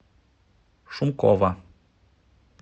шумкова